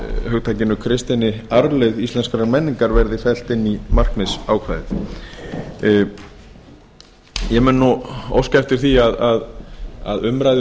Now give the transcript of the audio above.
hugtakinu kristinni arfleifð íslenskrar menningar verði felld inn í markmiðsákvæðið ég mun nú óska eftir því að umræðu um